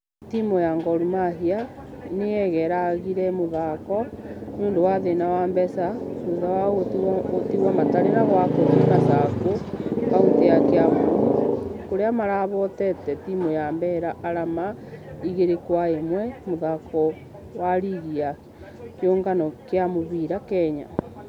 Timũ ya gor mahia nĩegeragire mũthakk nĩũndũ wa thĩna wa mbeca thutha wao gũtigwo matarĩ na gwakũthĩ masaku kaũntĩ ya kiambu kũrĩa marahotete timũ ya bella arama igĩri gwa ĩmwe mũthako wa rigi ya kĩũngano gia mũfira kenya.